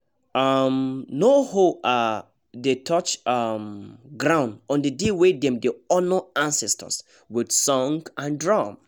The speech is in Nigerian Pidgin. um no hoe um dey touch um ground on the day wey dem dey honour ancestors with song and drum